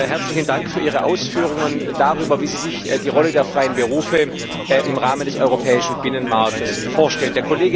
Herzlichen Dank für Ihre Ausführungen darüber, wie sie sich die Rolle der freien Berufe im Rahmen des europäischen Binnenmarktes vorstellen.